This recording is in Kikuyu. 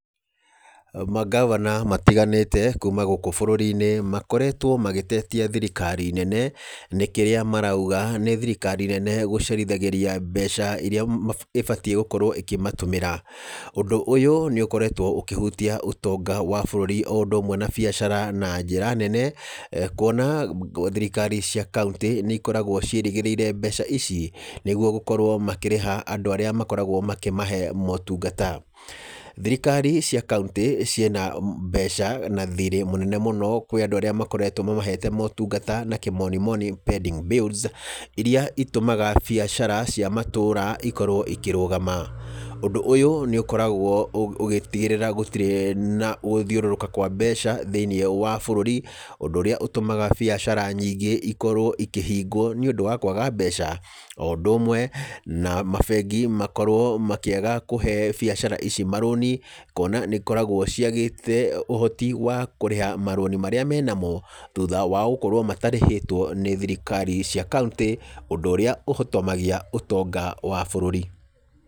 Mangabana matiganĩte kuuma gũkũ bũrũri-inĩ, makoretwo magĩtetia thirikari nene, nĩ kĩrĩa marauga nĩ thirikari nene gũcerithagĩria mbeca irĩa ĩbatiĩ gũkorwo ĩkĩmatũmĩra. Ũndũ ũyũ, nĩ ũkoretwo ũkĩhutia ũtonga wa bũrũri o ũndũ ũmwe na biacara na njĩra nene, kuona thirikari cia kauntĩ nĩ ikoragwo ciĩrĩgĩrĩire mbeca ici, nĩguo gũkorwo makĩrĩha andũ arĩa makoragwo makĩmahe motungata. Thirikari cia kauntĩ, ciĩna mbeca na thirĩ mũnene mũno kwĩ andũ arĩa makoretwo mamahete motungata na kĩmoni moni pending bills, irĩa itũmaga biacara cia matũũra ikorwo ikĩrũgama. Ũndũ ũyũ nĩ ũkoragwo ũgĩtigĩrĩra gũtirĩ na gũthiũrũrũka kwa mbeca thĩiniĩ wa bũrũri, ũndũ ũrĩa ũtũmaga biacara nyingĩ ikorwo ikĩhingwo nĩ ũndũ wa kwaga mbeca. O ũndũ ũmwe na mabengi makorwo makĩaga kũhe biacara ici marũni, kuona nĩ ikoragwo ciagĩte ũhoti wa kũrĩha marũni marĩa mena mo, thutha wao gũkorwo matarĩhĩtwo nĩ thirikari cia kauntĩ, ũndũ ũrĩa ũhotomagia ũtonga wa bũrũri.